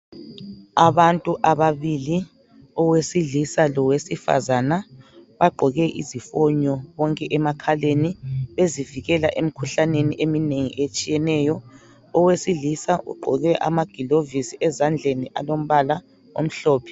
Abantu ababili owesilisa Lowesifazana bagqoke izifonyo bonke emakhaleni ezivikela emkhuhlaneni eminengi etshiyeneyo. Owesilisa ugqoke amagilovisi ezandleni alombala omhlophe